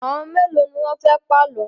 Àwọn mélòó ni wọ́n fẹ́ pa àlọ́?